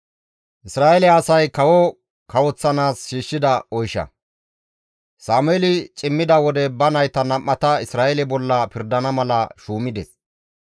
Sameeli cimmida wode ba nayta nam7ata Isra7eele bolla pirdana mala shuumides.